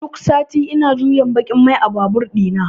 duk sati ina juyan baƙin mai a babur ɗina.